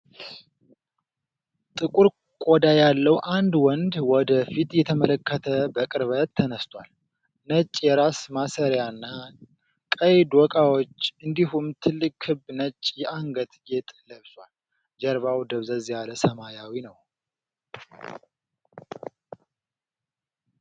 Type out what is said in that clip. ጥቁር ቆዳ ያለው አንድ ወንድ ወደ ፊት እየተመለከተ በቅርበት ተነስቷል። ነጭ የራስ ማሰሪያና ቀይ ዶቃዎች እንዲሁም ትልቅ ክብ ነጭ የአንገት ጌጥ ለብሷል። ጀርባው ደብዘዝ ያለ ሰማያዊ ነው።